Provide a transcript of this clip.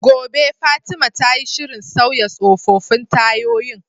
Gobe ​​Fatima tayi shirin sauya tsofaffin tayoyin